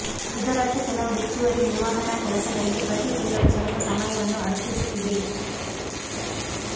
ಇದರರ್ಥ ಕೆಲವು ಹೆಚ್ಚುವರಿ ನಿರ್ವಹಣಾ ಕೆಲಸಗಳಿಗೆ ಪ್ರತಿ ತಿಂಗಳು ಸ್ವಲ್ಪ ಸಮಯವನ್ನು ಅರ್ಪಿಸುತ್ತಿದೆ